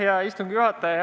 Hea istungi juhataja!